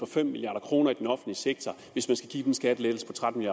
fem milliard kroner i den offentlige sektor hvis man skal give den skattelettelse på tretten